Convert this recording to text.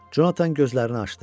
Conatan gözlərini açdı.